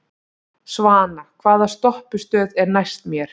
Svana, hvaða stoppistöð er næst mér?